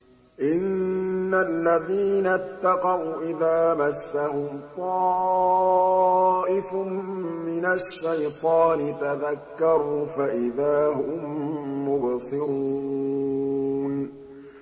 إِنَّ الَّذِينَ اتَّقَوْا إِذَا مَسَّهُمْ طَائِفٌ مِّنَ الشَّيْطَانِ تَذَكَّرُوا فَإِذَا هُم مُّبْصِرُونَ